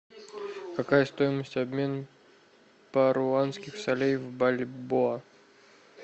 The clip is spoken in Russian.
какая стоимость обмена перуанских солей в бальбоа